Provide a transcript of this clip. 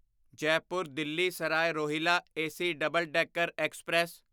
Jaipur Delhi Sarai Rohilla AC double decker express